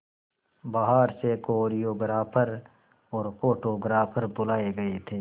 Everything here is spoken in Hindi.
बाहर से कोरियोग्राफर और फोटोग्राफर बुलाए गए थे